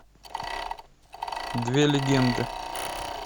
две легенды